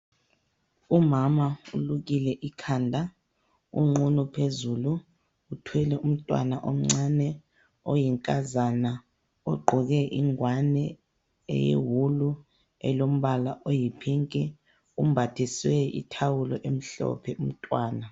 Umama ulukile ikhanda, unqunu phezulu, uthwele umntwana omncane oyinkazana ,ugqoke ingwane eyewulu elombala oyi phinki, umbathiswe ithawulo emhlophe umntwana.